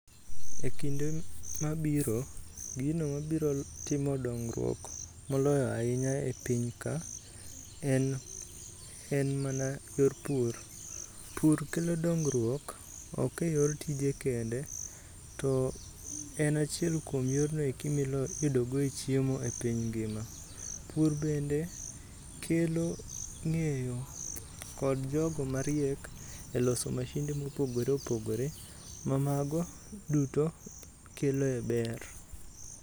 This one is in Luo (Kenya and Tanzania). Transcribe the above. Ekinde mabiro, gino mabiro timo dongruok moloyo ahinya e piny ka en en mana yor pur. Pur kelo dongruok, ok eyor tije kende, to en achiel kuom yorno eki miyudogo chiemo e piny ngima. Pur bende kelo ng'eyo kod jogo mariek eloso masinde mopogore opogore ma mago duto keloe ber.